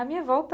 A minha volta